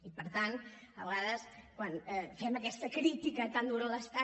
i per tant a vegades quan fem aquesta crítica tan dura a l’estat